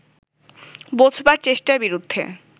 বোঝবার চেষ্টার বিরুদ্ধে